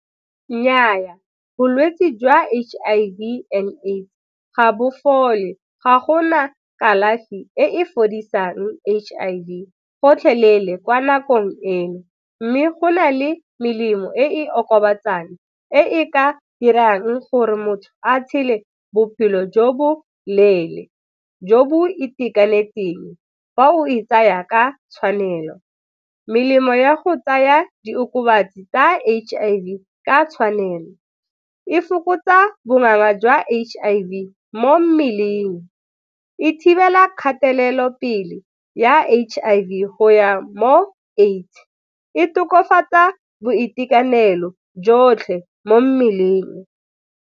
Nnyaa, bolwetse jwa H_I_V and AIDS ga bo fole, ga gona kalafi e e fodisang H_I_V gotlhelele kwa nakong eno mme go na le melemo e okobatsang e e ka dirang gore motho a tshele bophelo jo bo leele, jo bo itekanetseng, fa o e tsaya ka tshwanelo. Melemo ya go tsaya diokobatsi tsa H_I_V ka tshwanelo, e fokotsa jwa H_I_V mo mmeleng, e thibela kgatelelopele ya H_I_V go ya mo AIDS, e tokafatsa boitekanelo jotlhe mo mmeleng.